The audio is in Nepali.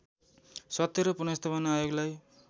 सत्य र पुनर्स्थापना आयोगलाई